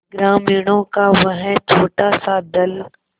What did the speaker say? ग्रामीणों का वह छोटासा दल